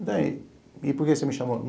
E por que você me chamou?